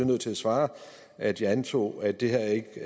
nødt til at svare at jeg antog at det her ikke